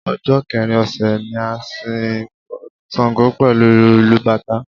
Ọjọ́ kẹrin ọ̀sẹ̀ ni a n sin Ṣàngó pẹ̀lú ìlù bàtá